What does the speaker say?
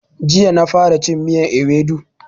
Jiya na fara cin miyan ewedu